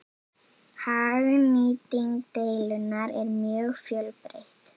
Hagnýting deildunar er mjög fjölbreytt.